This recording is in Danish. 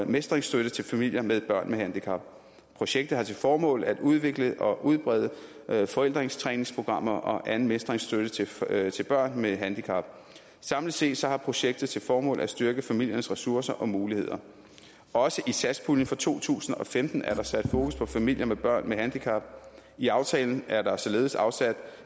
mestringsstøtte til familier med børn med handicap projektet har til formål at udvikle og udbrede forældretræningsprogrammer og anden mestringsstøtte til forældre til børn med handicap samlet set har projektet til formål at styrke familiernes ressourcer og muligheder også i satspuljen for to tusind og femten er der sat fokus på familier med børn med handicap i aftalen er der således afsat